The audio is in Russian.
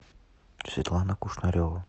светлана кушнарева